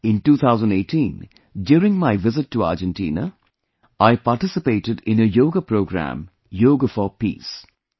In 2018, during my visit to Argentina, I participated in a yoga program 'Yoga for Peace'